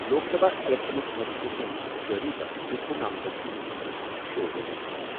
لوک سبھا اِلیکشنُک نوٹیفکیشن جٲری گژھنہٕ سٕتۍ چھُ نامزدٕگی ہُنٛد عمل شُروٗع گوٚمُت۔